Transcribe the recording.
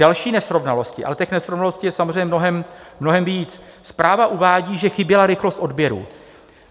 Další nesrovnalost - ale těch nesrovnalostí je samozřejmě mnohem víc: zpráva uvádí, že chyběla rychlost odběrů.